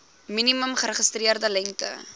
minimum geregistreerde lengte